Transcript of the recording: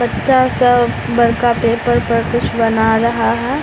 बच्चा सब बड़का पेपर पर कुछ बना रहा है।